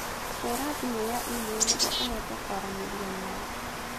hũra thimũ ya e-mail nĩguo ũhote kwaranĩria nao